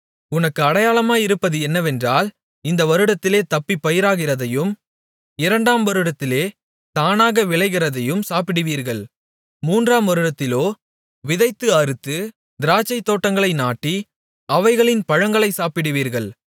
உனக்கு அடையாளமாயிருப்பது என்னவென்றால் இந்த வருடத்திலே தப்பிப் பயிராகிறதையும் இரண்டாம் வருடத்திலே தானாக விளைகிறதையும் சாப்பிடுவீர்கள் மூன்றாம் வருடத்திலோ விதைத்து அறுத்து திராட்சைத்தோட்டங்களை நாட்டி அவைகளின் பழங்களை சாப்பிடுவீர்கள்